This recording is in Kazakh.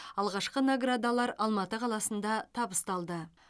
алғашқы наградалар алматы қаласында табысталды